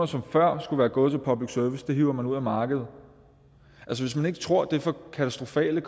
som før skulle være gået til public service hiver man ud af markedet hvis man ikke tror det får katastrofale